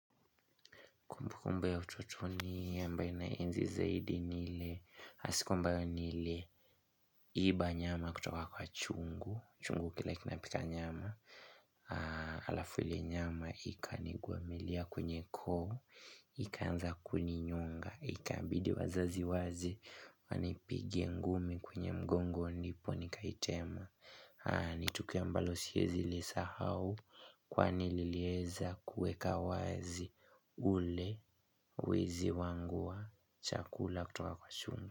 Kumbu kumbu ya utotoni ambaye na enzi zaidi ni ile, ya siku ambayo niliiba nyama kutoka kwa chungu, chungu kile kina pika nyama, alafu ile nyama ikanigwamilia kwenye koo, ikanza kuninyonga, ikabidi wazazi waje, wanipige ngumi kwenye mgongo ndipo nikaitema. Ni tukio ambalo siezi lisahau kwani lilieza kuweka wazi ule wizi wangu wa chakula kutoka kwa chungu.